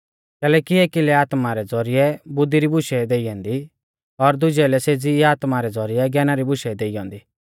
कैलैकि एकी लै आत्मा रै ज़ौरिऐ बुद्धी री बुशै देई ऐन्दी और दुजै लै सेज़ी ई आत्मा रै ज़ौरिऐ ज्ञाना री बुशै ई देई ऐन्दी